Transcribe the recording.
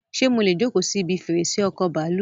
Ṣé mọ́lẹ̀ jókòó si ibi fèrèsé ọkọ bàálù?